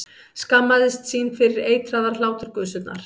Skammaðist sín fyrir eitraðar hláturgusurnar.